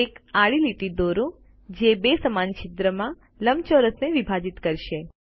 એક આડી લીટી દોરો જે બે સમાન છિદ્ર માં લંબચોરસને વિભાજિત કરશે